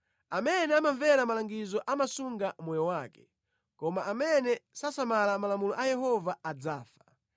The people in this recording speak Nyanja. Amene amamvera malangizo amasunga moyo wake, koma amene sasamala malamulo a Yehova adzafa.